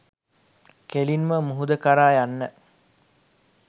කෙලින්ම මුහුද කරා යන්න.